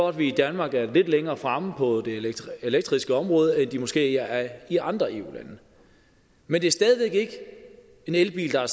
at vi i danmark er lidt længere fremme på det elektriske område end de måske er i andre eu lande men det er stadig væk ikke en elbil der er